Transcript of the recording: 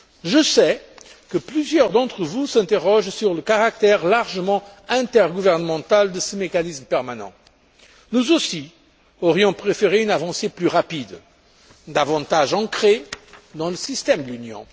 Je sais que plusieurs d'entre vous s'interrogent sur le caractère largement intergouvernemental de ce mécanisme permanent. Nous aussi, nous aurions préféré une avancée plus rapide, davantage ancrée dans le système de l'Union.